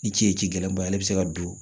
I ce ji gɛlɛnbaa ye ale bi se ka don